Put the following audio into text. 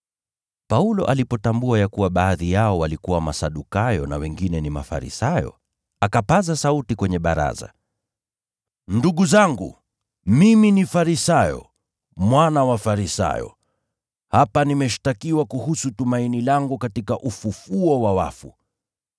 Paulo alipotambua ya kuwa baadhi yao walikuwa Masadukayo na wengine ni Mafarisayo, akapaza sauti kwenye baraza, “Ndugu zangu, mimi ni Farisayo, mwana Farisayo. Hapa nimeshtakiwa kuhusu tumaini langu katika ufufuo wa wafu.”